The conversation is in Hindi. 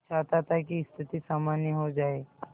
मैं चाहता था कि स्थिति सामान्य हो जाए